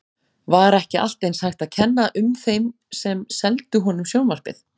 Var ekki allt eins hægt að kenna um þeim sem seldu honum sjónvarpið?